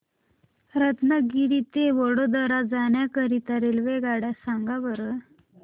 रत्नागिरी ते वडोदरा जाण्या करीता रेल्वेगाड्या सांगा बरं